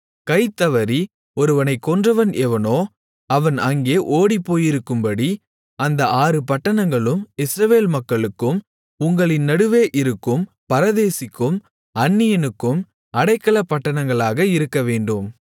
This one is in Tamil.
கை தவறி ஒருவனைக் கொன்றவன் எவனோ அவன் அங்கே ஓடிப்போயிருக்கும்படி அந்த ஆறு பட்டணங்களும் இஸ்ரவேல் மக்களுக்கும் உங்களின் நடுவே இருக்கும் பரதேசிக்கும் அந்நியனுக்கும் அடைக்கலப்பட்டணங்களாக இருக்கவேண்டும்